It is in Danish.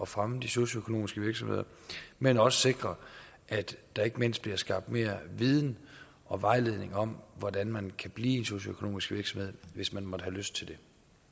fremme de socialøkonomiske virksomheder men også sikrer at der ikke mindst bliver skabt mere viden og vejledning om hvordan man kan blive en socialøkonomisk virksomhed hvis man måtte have lyst til det